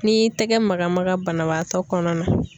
N'i y'i tɛgɛ maga maga banabagatɔ kɔnɔna na.